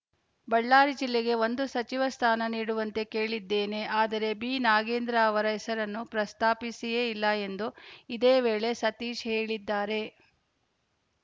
ಬಳ್ಳಾರಿ ಜಿಲ್ಲೆಗೆ ಒಂದು ಸಚಿವ ಸ್ಥಾನ ನೀಡುವಂತೆ ಕೇಳಿದ್ದೇನೆ ಆದರೆ ಬಿನಾಗೇಂದ್ರ ಅವರ ಹೆಸರನ್ನು ಪ್ರಸ್ತಾಪಿಸಿಯೇ ಇಲ್ಲ ಎಂದು ಇದೇ ವೇಳೆ ಸತೀಶ್‌ ಹೇಳಿದ್ದಾರೆ